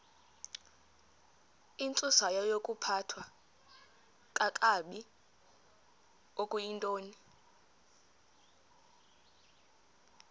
intsusayokuphathwa kakabi okuyintoni